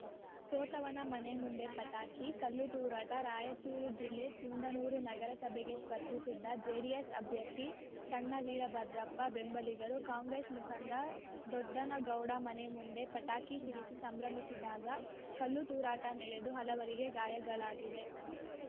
ಸೋತವನ ಮನೆ ಮುಂದೆ ಪಟಾಕಿ ಕಲ್ಲುತೂರಾಟ ರಾಯಚೂರು ಜಿಲ್ಲೆ ಸಿಂಧನೂರು ನಗರಸಭೆಗೆ ಸ್ಪರ್ಧಿಸಿದ್ದ ಜೆಡಿಎಸ್‌ ಅಭ್ಯರ್ಥಿ ಸಣ್ಣ ವೀರಭದ್ರಪ್ಪ ಬೆಂಬಲಿಗರು ಕಾಂಗ್ರೆಸ್‌ ಮುಖಂಡ ದೊಡ್ಡನಗೌಡ ಮನೆ ಮುಂದೆ ಪಟಾಕಿ ಸಿಡಿಸಿ ಸಂಭ್ರಮಿದಾಗ ಕಲ್ಲು ತೂರಾಟ ನಡೆದು ಹಲವರಿಗೆ ಗಾಯಗಳಾಗಿವೆ